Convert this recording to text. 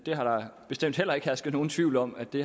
har bestemt heller ikke hersket nogen tvivl om at det